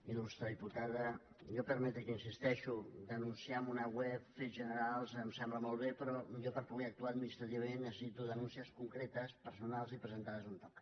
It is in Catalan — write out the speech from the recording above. il·lustre diputada a mi permeti’m que hi insisteixi denunciar amb una web fets generals em sembla molt bé però jo per poder actuar administrativament necessito denúncies concretes personals i presentades on toca